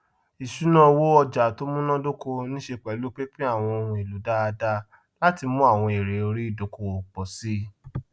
ìṣúnáowó ọjà tó munadoko niiṣe pẹlu pínpín àwọn ohun èlò dáadáa láti mú àwọn èèrè orí idókòwò pọ síi